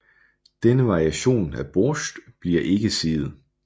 Denne variation af borsjtj bliver ikke siet